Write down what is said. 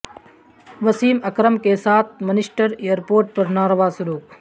وسیم اکرم کے ساتھ Manchester airport پر ناروا سلوک